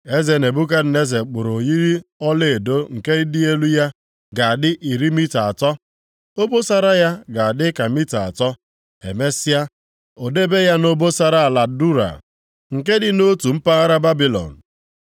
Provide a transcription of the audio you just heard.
Eze Nebukadneza kpụrụ oyiyi ọlaedo nke ịdị elu ya ga-adị iri mita atọ, obosara ya ga-adị ka mita atọ. Emesịa, o debe ya nʼobosara ala Dura, nke dị nʼotu mpaghara Babilọn.